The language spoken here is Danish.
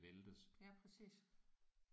Ja præcis